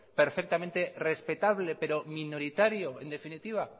perfectamente respetable pero minoritario en definitiva